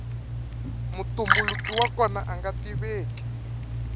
mutumbuluki wa kona anga tiveki